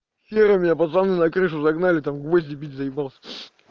серый меня пацаны на крышу загнали там гвозди бить заебался